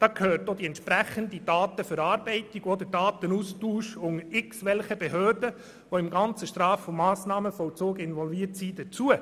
Dazu gehört auch die entsprechende Datenverarbeitung und der Datenaustausch unter irgendwelchen Behörden, die in den Straf- und Massnahmenvollzug involviert sind.